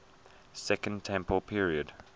second temple period